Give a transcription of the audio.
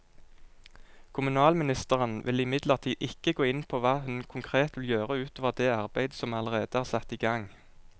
Kommunalministeren vil imidlertid ikke gå inn på hva hun konkret vil gjøre ut over det arbeidet som allerede er satt i gang.